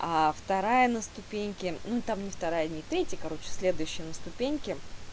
а вторая на ступеньке ну там не вторая не третья короче следующая на ступеньке